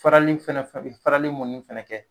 Farali faɛnɛ fɛ, farali mɔni fɛnɛ kɛ.